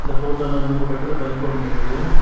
போட்டோல வந்து ஒரு பெட்ரோல் பல்க் ஒன்னிருக்கு.